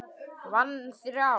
Vann þrjá.